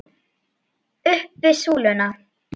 Upp við súluna!